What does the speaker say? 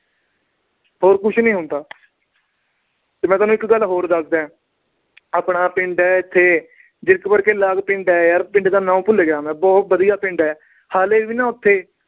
ਹੋਰ ਕੁਛ ਨੀ ਹੁੰਦਾ। ਤੇ ਮੈਂ ਤੁਹਾਨੂੰ ਇੱਕ ਗੱਲ ਹੋਰ ਦੱਸਦਾ। ਆਪਣਾ ਪਿੰਡ ਆ ਇੱਥੇ ਜੀਰਕਪੁਰ ਦੇ ਨਾਲ ਪਿੰਡ ਆ, ਪਿੰਡ ਦਾ ਨਾਂ ਭੁੱਲ ਗਿਆ ਮੈਂ, ਬਹੁਤ ਵਧੀਆ ਪਿੰਡ ਆ, ਹਾਲੇ ਵੀ ਨਾ ਉਥੇ